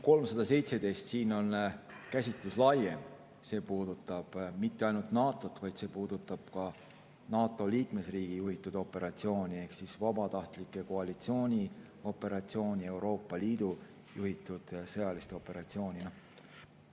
317 käsitlus on laiem, see ei puuduta mitte ainult NATO‑t, see puudutab ka NATO liikmesriigi juhitud operatsiooni ehk vabatahtlike koalitsiooni operatsiooni ja Euroopa Liidu juhitud sõjalist operatsiooni.